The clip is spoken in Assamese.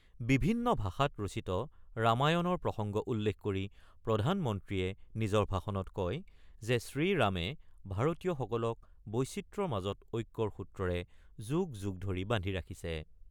বিভিন্ন ভাষাত ৰচিত ৰামায়ণৰ প্ৰসংগ উল্লেখ কৰি প্ৰধানমন্ত্ৰীয়ে নিজৰ ভাষণত কয় যে শ্ৰীৰামে ভাৰতীয়সকলক বৈচিত্ৰ্যৰ মাজত ঐক্যৰ সূত্ৰৰে যুগ যুগ ধৰি বান্ধি ৰাখিছে।